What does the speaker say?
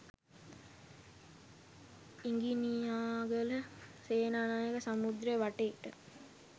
ඉඟිනියාගල සේනානායක සමුද්‍රය වටේට